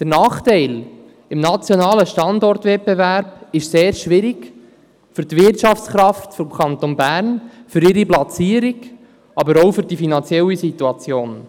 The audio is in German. Der Nachteil im nationalen Standortwettbewerb ist sehr schwierig für die Wirtschaftskraft des Kantons Bern, für ihre Platzierung, aber auch für die finanzielle Situation.